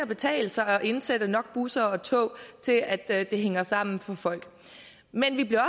betale sig at indsætte nok busser og tog til at at det hænger sammen for folk men vi bliver